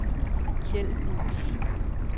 Kjeld Buus